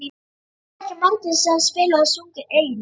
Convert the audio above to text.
Það voru ekki margir sem spiluðu og sungu eigin lög.